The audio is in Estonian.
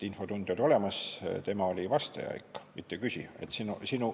Infotund oli olemas, tema oli vastaja, mitte küsija.